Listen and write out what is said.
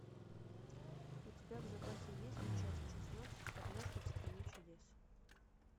у тебя в запасе есть часть шестнадцать однажды в стране чудес